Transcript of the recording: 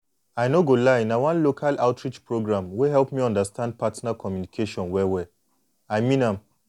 i no go lie na one local outreach program wey help me understand partner communication well well i mean am.